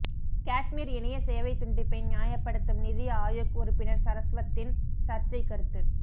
காஷ்மீர் இணைய சேவை துண்டிப்பை நியாயப்படுத்தும் நிதி ஆயோக் உறுப்பினர் சரஸ்வத்தின் சர்ச்சை கருத்து